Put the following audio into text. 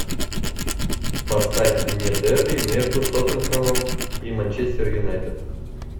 поставь мне дерби между тоттенхэмом и манчестер юнайтед